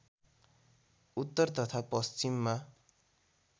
उत्तर तथा पश्चिममा